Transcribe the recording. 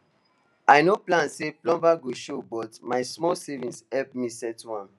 i no plan say plumber go show but my small savings help me settle am